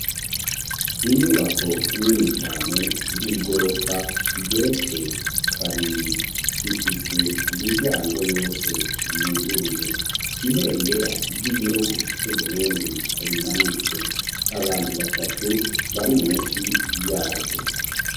Inyubako nini cane y'igorofa igeretswe kabiri ifise imiryango yose yuguruye ibendera ry'igihugu cU Burundi rimanitswe abantu batatu bari munsi yaryo.